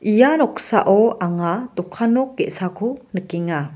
ia noksao anga dokan nok ge·sako nikenga.